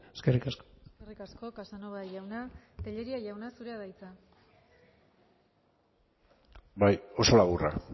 eskerrik asko eskerrik asko casanova jauna tellería jauna zurea da hitza bai oso laburra